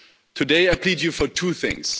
Today, I plead to you for two things.